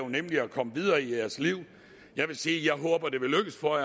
nemlig at komme videre i jeres liv jeg vil sige at jeg håber det vil lykkes for